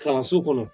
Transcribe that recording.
Kalanso kɔnɔ